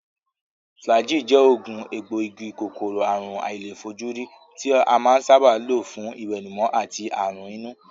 Flagyl je ogun egboogi-Kòkòrò àrùn àìlèfojúrí ti a saba ma n lo fun iwenumo ati aran inu.